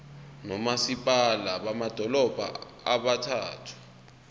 nomasipala bamadolobha abathathu